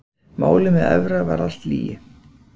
Málið með Evra var allt lygi.